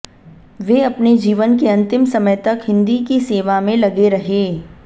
वे अपने जीवन के अंतिम समय तक हिन्दी की सेवा में लगे रहें